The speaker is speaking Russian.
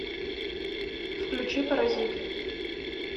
включи паразит